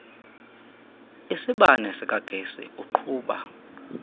isibane sikagesi uqhuba